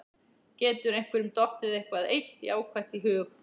Getur einhverjum dottið eitthvað eitt jákvætt í hug?